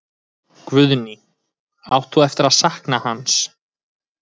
Guðný: Átt þú eftir að sakna hans?